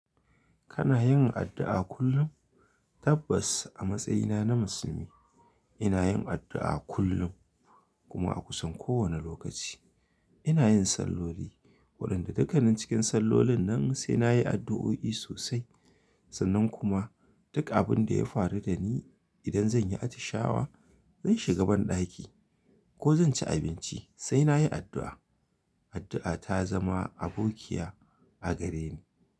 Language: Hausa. Kana yin addu'a kullum? Tabbas a matsayina na musulmi ina yin addu'a kullum kuma a kusan kowane lokaci. Inayin salloli waɗanda dukkanin cikin sallolin nan sai nayi addu'oi sosai. Sannan kuma duk abin da ya faru da ni idan zan yi atishawa, zan shiga banɗaki ko zan ci abinci sai nayi addu'a. Addu'a ta zama abokiya a gareni.